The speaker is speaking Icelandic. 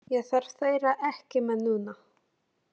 Ég þarf þeirra ekki með núna.